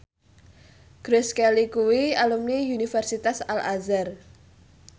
Grace Kelly kuwi alumni Universitas Al Azhar